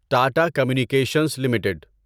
Tata Communications limited